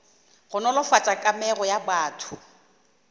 go nolofatša kamego ya batho